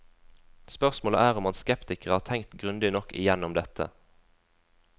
Spørsmålet er om hans skeptikere har tenkt grundig nok igjennom dette.